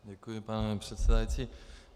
Děkuji, pane předsedající.